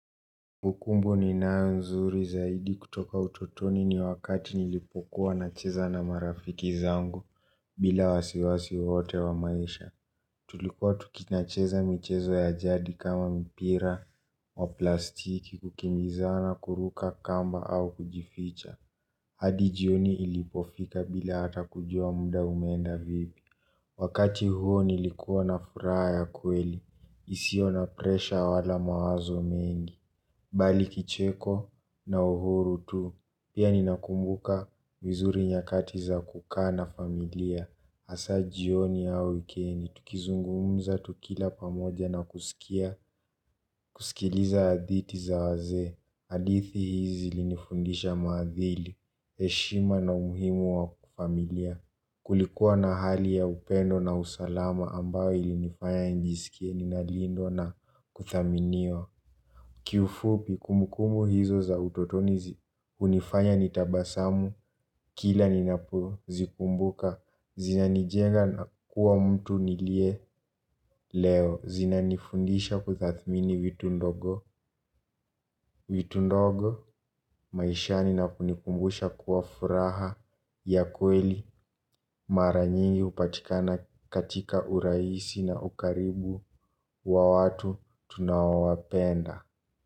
Kumbu kumbu ninayo nzuri zaidi kutoka utotoni ni wakati nilipokuwa nacheza na marafiki zangu bila wasiwasi wowote wa maisha. Tulikuwa tunacheza michezo ya jadi kama mpira wa plastiki kukimbizana kuruka kamba au kujificha. Hadi jioni ilipofika bila hata kujua muda umeenda vipi. Wakati huo nilikuwa na furaha ya kweli. Isio na presha wala mawazo mengi. Bali kicheko na uhuru tu. Pia ninakumbuka vizuri nyakati za kukaa na familia. Hasa jioni au wikendi. Tukizungumza, tukila pamoja na kusikia. Kusikiliza hadithi za wazee. Hadithi hizi zilinifundisha maadili, heshima na umuhimu wa familia. Kulikuwa na hali ya upendo na usalama ambayo ilinifanya nijisikie ninalindwa na kudhaminiwa. Kiufupi kumbu kumbu hizo za utotoni hunifanya nitabasamu kila ninapo zikumbuka zina nijenga na kuwa mtu nilie leo zina nifundisha kutathmini vitu ndogo. Vitu ndogo maishani na kunikumbusha kuwa furaha ya kweli mara nyingi hupatikana katika urahisi na ukaribu wa watu tunao wapenda.